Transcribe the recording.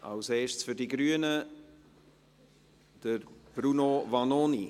Als Erstes für die Grünen, Bruno Vanoni.